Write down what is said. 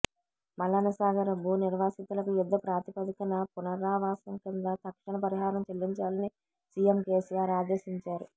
మల్లన్నసాగర్ భూ నిర్వాసితులకు యుద్ధ ప్రాతిపదికన పునరావాసం కింద తక్షణ పరిహారం చెల్లించాలని సీఎం కేసీఆర్ ఆదేశించారు